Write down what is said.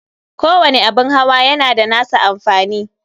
Kowani abun hawa yana da nasa amfani.